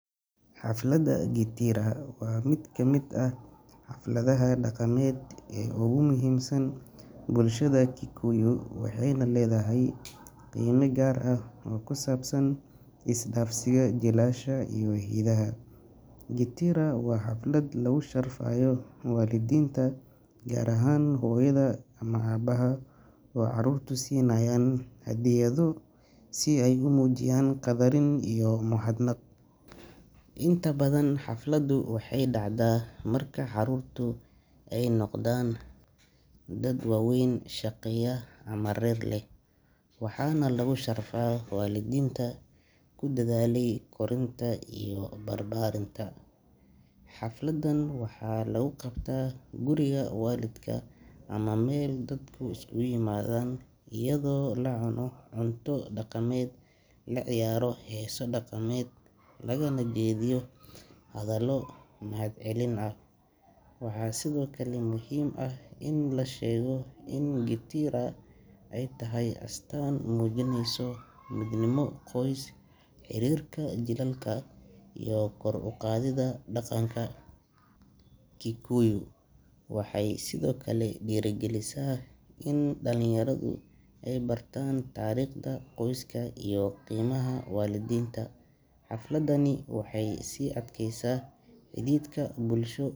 Xaflada Gitĩra waa mid ka mid ah xafladaha dhaqameed ee ugu muhiimsan bulshada Kikuyu, waxayna leedahay qiime gaar ah oo ku saabsan is-dhaafsiga jiilasha iyo hiddaha. Gitĩra waa xaflad lagu sharfayo waalidiinta, gaar ahaan hooyada ama aabbaha oo carruurtu siinayaan hadiyado si ay u muujiyaan qadarin iyo mahadnaq. Inta badan, xafladdu waxay dhacdaa marka carruurtu ay noqdaan dad waaweyn, shaqeeya ama reer leh, waxaana lagu sharfaa waalidiintii ku dadaalay korinta iyo barbaarinta. Xafladan waxaa lagu qabtaa guriga waalidka ama meel dadku isugu yimaado, iyadoo la cuno cunto dhaqameed, la ciyaaro heeso dhaqameed, lagana jeediyo hadallo mahadcelin ah. Waxaa sidoo kale muhiim ah in la sheego in Gitĩra ay tahay astaan muujinaysa midnimo qoys, xiriirka jiilalka, iyo kor u qaadida dhaqanka Kikuyu. Waxay sidoo kale dhiirrigelisaa in dhalinyaradu ay bartaan taariikhda qoyska iyo qiimaha waalidiinta. Xafladani waxay sii adkaysaa xidhiidhka bulsho.